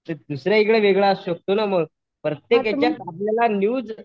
तर दुसऱ्या इकडे वेगळा असू शकतो ना मग. प्रत्येक यांच्यात आपल्याला न्यूज